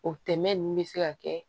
O tɛmɛn bɛ se ka kɛ